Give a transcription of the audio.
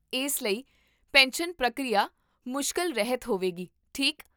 ਇਸ ਲਈ, ਪੈਨਸ਼ਨ ਪ੍ਰਕਿਰਿਆ ਮੁਸ਼ਕਲ ਰਹਿਤ ਹੋਵੇਗੀ, ਠੀਕ?